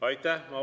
Aitäh!